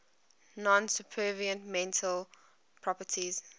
non supervenient mental properties